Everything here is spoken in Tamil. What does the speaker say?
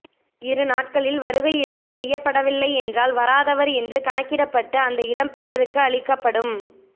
இருநாட்களில் வருகையுறுதி செய்யப்படவில்லை என்றால் வராதவர் என்று கணக்கிடப்பட்டு அந்த இடம் பிறருக்கு அளிக்கப்படும்